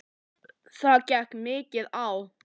Það gekk mikið á.